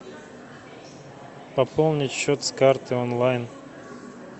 пополнить счет с карты онлайн